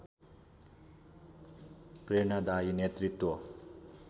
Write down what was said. प्रेरणादायी नेतृत्व